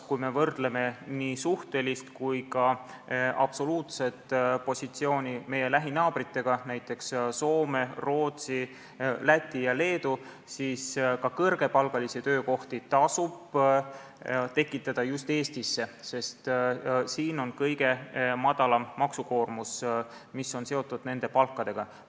Kui me võrdleme meie nii suhtelist kui ka absoluutset positsiooni meie lähinaabrite omaga, näiteks Soome, Rootsi, Läti ja Leedu positsioonidega, siis selgub, et ka kõrgepalgalisi töökohti tasub tekitada just Eestisse, sest siin on kõige madalam maksukoormus, mis on seotud palkadega.